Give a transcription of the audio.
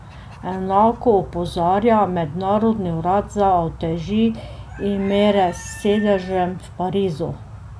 Enako opozarja Mednarodni urad za uteži in mere s sedežem v Parizu.